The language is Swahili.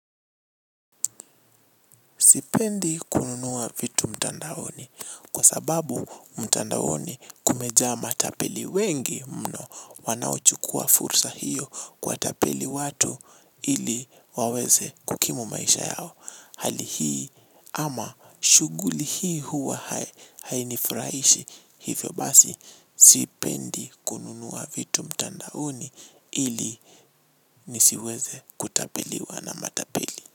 Sipendi kununua vitu mtandaoni kwa sababu mtandaoni kumeja matapeli wengi mno wanauchukua fursa hiyo kuwa tapeli watu ili waweze kukimu maisha yao. Hali hii ama shuguli hii huwa hainifurahishi hivyo basi sipendi kununua vitu mtandaoni ili nisiweze kutapeliwa na matapeli.